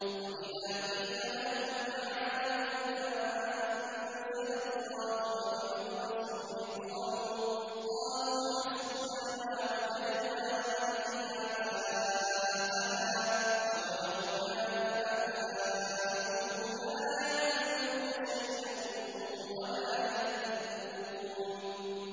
وَإِذَا قِيلَ لَهُمْ تَعَالَوْا إِلَىٰ مَا أَنزَلَ اللَّهُ وَإِلَى الرَّسُولِ قَالُوا حَسْبُنَا مَا وَجَدْنَا عَلَيْهِ آبَاءَنَا ۚ أَوَلَوْ كَانَ آبَاؤُهُمْ لَا يَعْلَمُونَ شَيْئًا وَلَا يَهْتَدُونَ